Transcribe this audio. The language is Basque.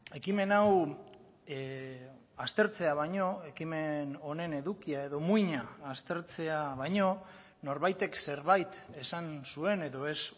ekimen hau aztertzea baino ekimen honen edukia edo muina aztertzea baino norbaitek zerbait esan zuen edo ez